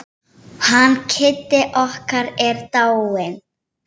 Hann Kiddi okkar er dáinn.